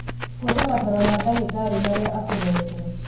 Buata mataro ma ndagītarī marīa akūhete.